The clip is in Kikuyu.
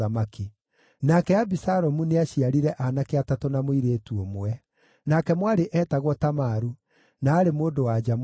Nake Abisalomu nĩaciarire aanake atatũ na mũirĩtu ũmwe. Nake mwarĩ eetagwo Tamaru, na aarĩ mũndũ-wa-nja mũthaka.